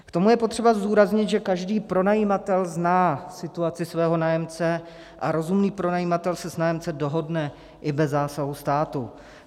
K tomu je potřeba zdůraznit, že každý pronajímatel zná situaci svého nájemce a rozumný pronajímatel se s nájemcem dohodne i bez zásahu státu.